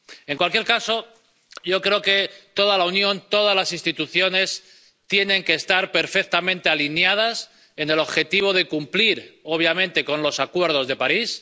En cualquier caso, yo creo que toda la Unión, todas las instituciones tienen que estar perfectamente alineadas por lo que respecta al objetivo de cumplir, obviamente, con el Acuerdo de París.